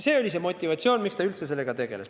See oli see põhjus, miks ta üldse sellega tegeles.